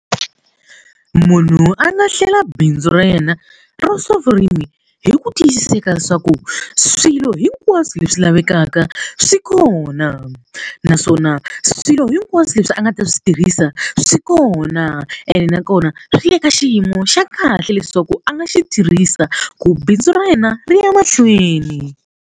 Munhu a nga hlela bindzu ra yena ra swa vurimi hi ku tiyiseka leswaku swilo hinkwaswo leswi lavekaka swi kona naswona swilo hinkwaswo leswi a nga ta swi tirhisa swi kona ene nakona swi le ka xiyimo xa kahle leswaku a nga xi tirhisa ku bindzu ra yena ri ya mahlweni.